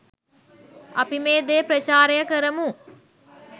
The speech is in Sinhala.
අපි මේ දේ ප්‍රචාරය කරමු.